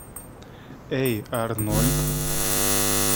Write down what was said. эй арнольд